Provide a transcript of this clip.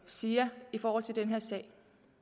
siger i forhold til den her sag